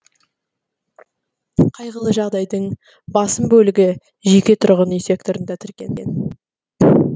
қайғылы жағдайдың басым бөлігі жеке тұрғын үй секторында тіркелген